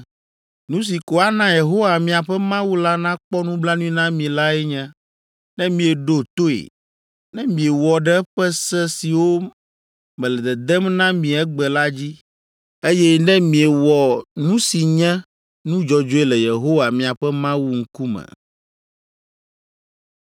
Nu si ko ana Yehowa miaƒe Mawu la nakpɔ nublanui na mi lae nye, ne mieɖo toe, ne miewɔ ɖe eƒe se siwo mele dedem na mi egbe la dzi, eye ne miewɔ nu si nye nu dzɔdzɔe le Yehowa miaƒe Mawu ŋkume.”